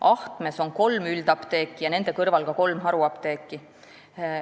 Ahtmes on kolm üldapteeki ja nende kõrval ka kolm haruapteeki.